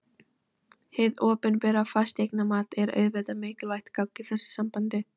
Hið opinbera fasteignamat er auðvitað mikilvægt gagn í þessu sambandi.